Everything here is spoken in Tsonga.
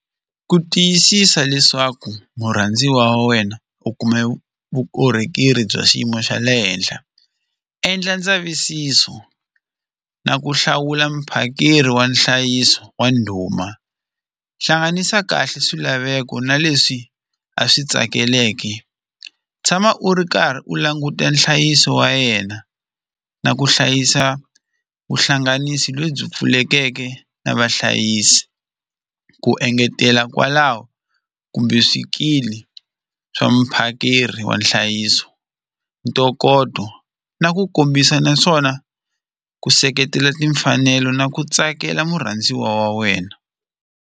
Ku tiyisisa leswaku murhandziwa wa wena u kuma vukorhokeri bya xiyimo xa le henhla endla ndzavisiso na ku hlawula muphakeri wa nhlayiso wa ndhuma hlanganisa kahle swilaveko na leswi a swi tsakeleke tshama u ri karhi u languta nhlayiso wa yena na ku hlayisa vuhlanganisi lebyi pfulekeke na vahlayisi ku engetela kwalaho kumbe swikili swa muphakeri wa nhlayiso ntokoto na ku kombisa naswona ku seketela timfanelo na ku tsakela murhandziwa wa wena.